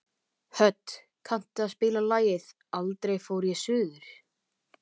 Hödd, kanntu að spila lagið „Aldrei fór ég suður“?